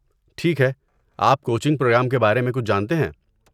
ٹھیک ہے، آپ کوچنگ پروگرام کے بارے میں کچھ جانتے ہیں؟